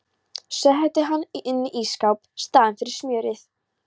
Setti hann inn í ísskáp í staðinn fyrir smjörið.